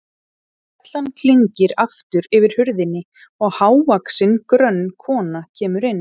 Bjallan klingir aftur yfir hurðinni og hávaxin, grönn kona kemur inn.